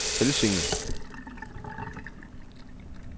Helsinge